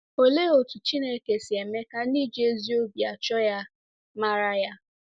Olee otú Chineke si eme ka ndị ji ezi obi achọ ya mara ya?